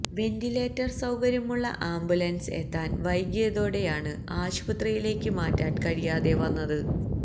ventilator സൌകര്യമുള്ള ambulance എത്താൻ വൈകിയതോടെയാണ് ആശുപത്രിയിലേക്ക് മാറ്റാൻ കഴിയാതെ വന്നത്